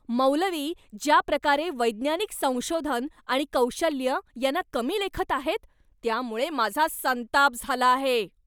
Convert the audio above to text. मौलवी ज्या प्रकारे वैज्ञानिक संशोधन आणि कौशल्य यांना कमी लेखत आहेत त्यामुळे माझा संताप झाला आहे.